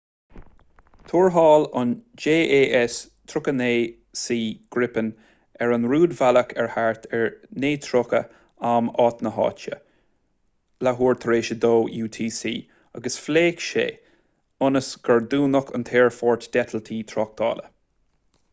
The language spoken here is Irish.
thuairteáil an jas 39c gripen ar an rúidbhealach ag thart ar 9:30 am áit na háite 0230 utc agus phléasc sé ionas gur dúnadh an t-aerfort d'eitiltí tráchtála